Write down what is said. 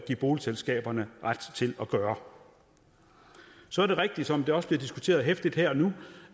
boligselskaberne ret til at gøre så er det rigtigt som det også bliver diskuteret heftigt her og nu